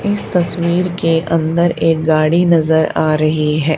इस तस्वीर के अंदर एक गाड़ी नजर आ रही है।